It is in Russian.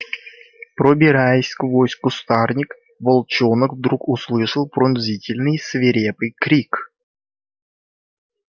пробираясь сквозь кустарник волчонок вдруг услышал пронзительный свирепый крик